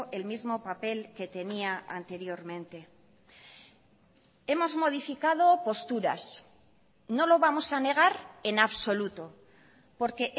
el mismo papel que tenía anteriormente hemos modificado posturas no lo vamos a negar en absoluto porque